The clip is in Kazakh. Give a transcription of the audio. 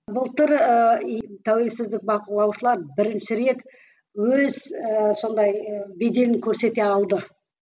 былтыр ыыы тәуілсіздік бақылаушылар бірінші рет өз ііі сондай беделін көрсете алды